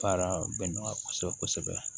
Baara bɛ nɔgɔya kosɛbɛ kosɛbɛ